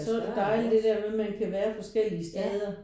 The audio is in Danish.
Så er det dejligt det der med at man kan være forskellige steder